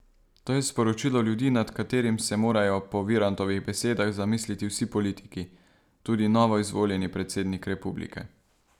To je sporočilo ljudi, nad katerim se morajo po Virantovih besedah zamisliti vsi politiki, tudi novoizvoljeni predsednik republike.